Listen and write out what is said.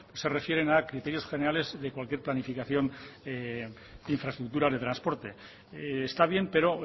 se refieren a criterios generales y a cualquier planificación de infraestructuras de transportes está bien pero